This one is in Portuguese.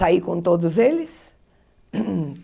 Saí com todos eles.